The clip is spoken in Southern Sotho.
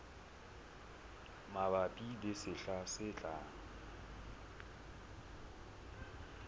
mabapi le sehla se tlang